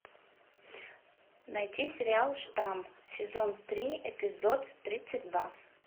найти сериал штамм сезон три эпизод тридцать два